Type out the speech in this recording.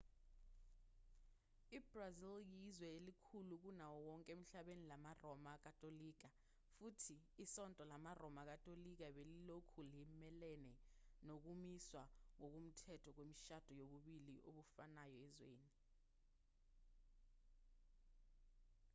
ibrazil yizwe elikhulu kunawo wonke emhlabeni lamaroma katolika futhi isonto lamaroma katolika belilokhu limelene nokumiswa ngokomthetho kwemishado yobulili obufanayo ezweni